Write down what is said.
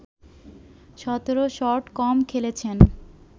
১৭ shot কম খেলেছেন